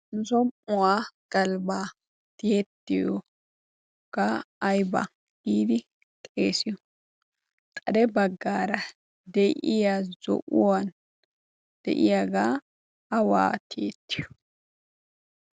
Som'uwaa galbbaa tiyeettiyoogaa ayba giidi xeesiyo? Xade baggaara de'iya zo'uwan de'iyaagaa awaa tiyettiyo?